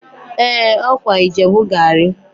Ee! Ọ kwa Ijebu gari